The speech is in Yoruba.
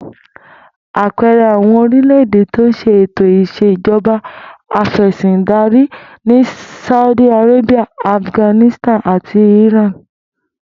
Àpe̩e̩re̩ àwo̩n orílè̩-èdè ti ó s̩e ètò ìs̩ejo̩ba afè̩sìndarí ni Saudi Arabia, Afghanistan àti Iran